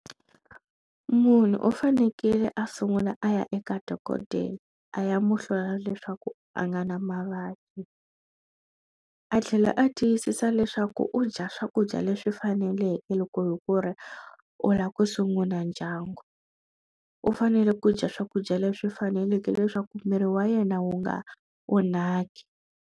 Munhu u fanekele a sungula a ya eka dokodela a ya muhlola leswaku a nga na mavabyi a tlhela a tiyisisa leswaku u dya swakudya leswi faneleke loko hi ku ri u lava ku sungula ndyangu u fanele ku dya swakudya leswi faneleke leswaku miri wa yena wu nga onhaki.